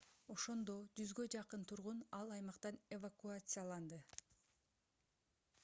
ошондо 100 жакын тургун ал аймактан эвакуацияланды